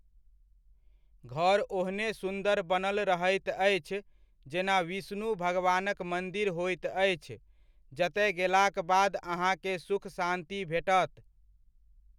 घर ओहने सुन्दर बनल रहैत अछि जेना विष्णु भगवानक मन्दिर होइत अछि, जतय गेलाक बाद अहाँकेँ सुख शान्ति भेटत।